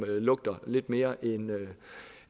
lugter lidt mere